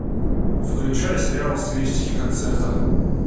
включай сериал в стилистике концерта